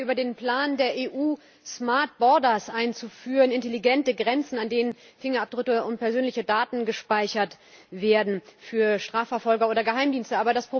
Wir reden heute über den Plan der EU, einzuführen intelligente Grenzen an denen Fingerabdrücke und persönliche Daten gespeichert werden für Strafverfolger oder Geheimdienste.